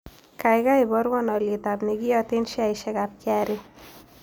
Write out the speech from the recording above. Gaigai iborwon alyetap negiyaten sheaisiekap kra